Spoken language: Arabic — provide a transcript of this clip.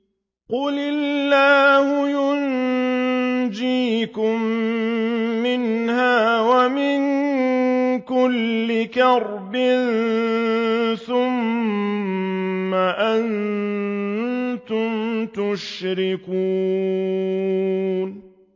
قُلِ اللَّهُ يُنَجِّيكُم مِّنْهَا وَمِن كُلِّ كَرْبٍ ثُمَّ أَنتُمْ تُشْرِكُونَ